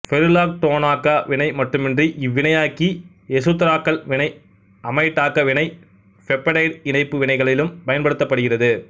பெருலாக்டோனாக்க வினை மட்டுமின்றி இவ்வினையாக்கி எசுத்தராக்கல் வினை அமைடாக்க வினை பெப்டைடு இணைப்பு வினைகளிலும் பயன்படுத்தப்படுகிறது